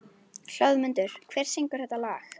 Hlöðmundur, hver syngur þetta lag?